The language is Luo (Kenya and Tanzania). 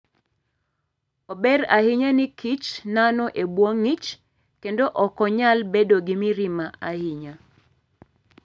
Ober ahinya ni kich nano e bwo ngi'ch kendo ok onyal bedo gi mirima ahinya.